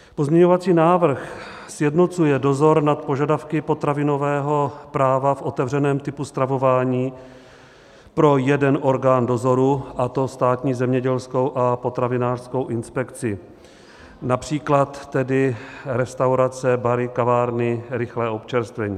Pozměňovací návrh sjednocuje dozor nad požadavky potravinového práva v otevřeném typu stravování pro jeden orgán dozoru, a to Státní zemědělskou a potravinářskou inspekci - například tedy restaurace, bary, kavárny, rychlé občerstvení.